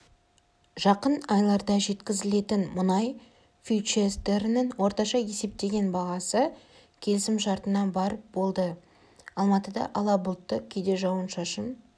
жақын айларда жеткізілетін мұнай фьючерстерінің орташа есептеген бағасы келісімшартына барр болды алматыда ала бұлтты кейде жауын-шашын